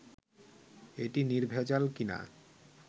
এটি নির্ভেজাল কি না